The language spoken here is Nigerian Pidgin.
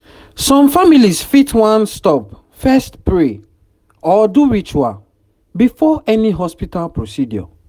some families fit wan stop first pray or do ritual before any hospital procedure